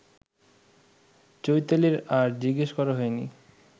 চৈতালির আর জিজ্ঞেস করা হয়নি